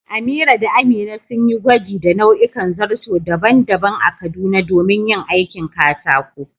Amira da Amina sun yi gwaji da nau'ikan zarto daban-daban a Kaduna domin yin aikin katako.